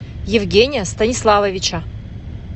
евгения станиславовича